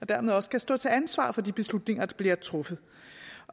dermed også skal stå til ansvar for de beslutninger der bliver truffet